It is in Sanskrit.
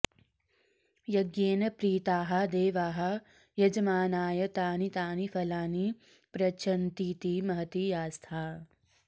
यज्ञेन प्रीताः देवाः यजमानाय तानि तानि फलानि प्रयच्छन्तीति महती आस्था